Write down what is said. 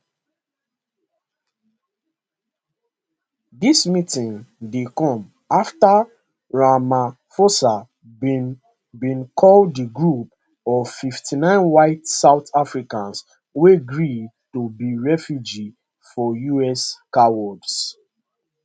dis meeting dey come afta ramaphosa bin bin call di group of 59 white south africans wey gree to be refugees for us cowards